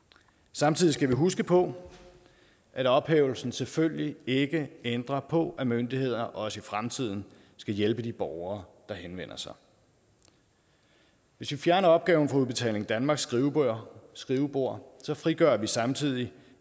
samtidig skal vi huske på at ophævelsen selvfølgelig ikke ændrer på at myndigheder også i fremtiden skal hjælpe de borgere der henvender sig hvis vi fjerner opgaven fra udbetaling danmarks skrivebord skrivebord frigør vi samtidig